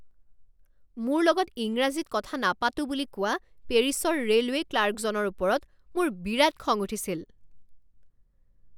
মোৰ লগত ইংৰাজীত কথা নাপাতোঁ বুলি কোৱা পেৰিছৰ ৰে'লৱে' ক্লাৰ্কজনৰ ওপৰত মোৰ বিৰাট খং উঠিছিল।